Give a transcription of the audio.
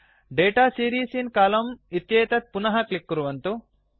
data series in column इत्येतत् पुनः click कुर्वन्तु